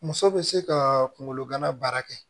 Muso bɛ se ka kungolo gana baara kɛ